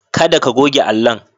Kada ka goge allon.